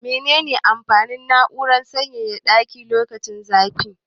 Mene ne amfanin na'urar sanyaya ɗaki lokacin zafi?